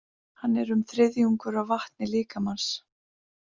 Hann er um þriðjungur af vatni líkamans.